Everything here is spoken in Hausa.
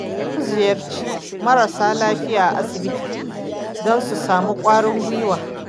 Za mu ziyarci marasa lafiya a asibiti don su samu ƙwarin gwiwa.